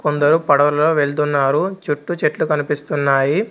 కొందరు పడవలో వెళ్తున్నారు చుట్టు చెట్లు కనిపిస్తున్నాయి.